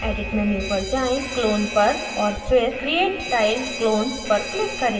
clone पर और फिर create tiled clones पर click करें